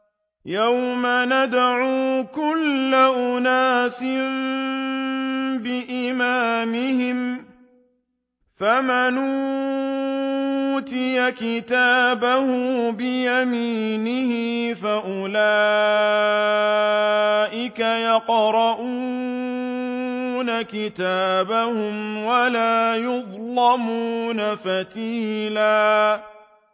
يَوْمَ نَدْعُو كُلَّ أُنَاسٍ بِإِمَامِهِمْ ۖ فَمَنْ أُوتِيَ كِتَابَهُ بِيَمِينِهِ فَأُولَٰئِكَ يَقْرَءُونَ كِتَابَهُمْ وَلَا يُظْلَمُونَ فَتِيلًا